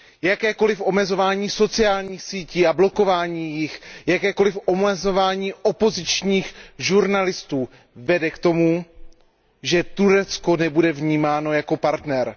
Jakékoliv omezování sociálních sítí a jejich blokování, jakékoliv omezování opozičních žurnalistů vede k tomu, že Turecko nebude vnímáno jako partner.